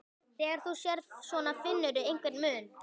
Þegar þú sérð svona, finnurðu einhvern mun?